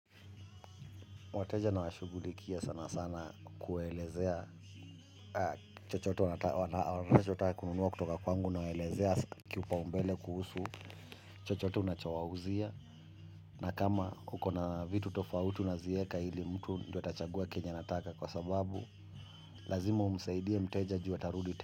Wateja nawashugulikia sana sana kuwaelezea chochote wanachotaka kununua kutoka kwangu nawaelezea kipao mbele kuhusu chochote unachowauzia. Na kama huko na vitu tofauti unazieka hili mtu ata chagua kenya anataka kwa sababu, lazima umsaidie mteja juu atarudi.